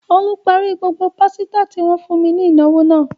Olú parí gbogbo pásítà tí wọ́n fún ní ìnáwó náà.